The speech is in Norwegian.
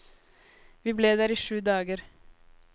Vi ble der i sju dager.